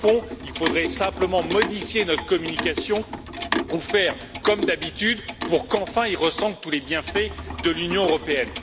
qu'il faudrait simplement modifier notre communication ou faire comme d'habitude pour qu'enfin ils ressentent tous les bienfaits de l'Union européenne.